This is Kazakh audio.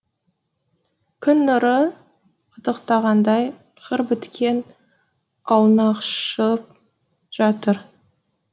күн нұры қытықтағандай қыр біткен аунақшып жатыр